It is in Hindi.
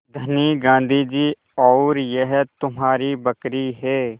धनी गाँधी जी और यह तुम्हारी बकरी है